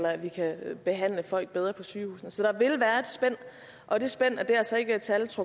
se at det ser